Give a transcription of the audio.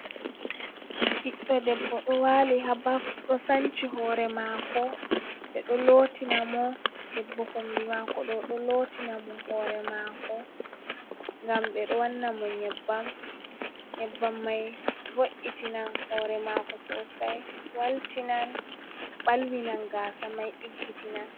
Ɓiɗɗo debbo ɗo waali haa baf ,ɗo sanci hoore maako ,ɓe ɗo lootina mo .Debbo kombi maako ɗo, ɗo lootina mo hoore maako. Ngam ɓe ɗo wanna mo nyebbam may, vo’itinan hoore maako sosay waltinan ,balwinan gaasa may ɗiggitina.